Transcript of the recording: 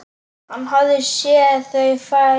Hann hafði séð þau fæðast.